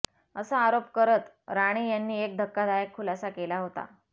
असा आरोप करत राणे यांनी एक धक्कादायक खुलासा केला होता